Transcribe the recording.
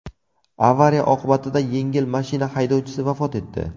Avariya oqibatida yengil mashina haydovchisi vafot etdi.